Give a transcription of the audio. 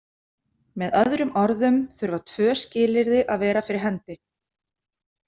Með öðrum orðum þurfa tvö skilyrði að vera fyrir hendi.